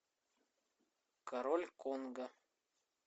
король конго